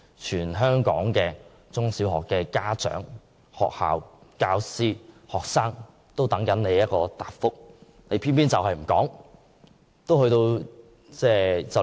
全港中小學家長、教師和學生都在等待她的答覆，但她卻偏偏不說。